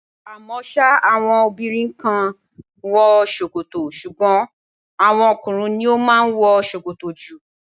À mọ́ sá àwọn obìnrin kan ń wọ ṣòkòtò, ṣùgbọ́n àwọn ọkùnrin ni ó máa ń wọ ṣòkòtò jù.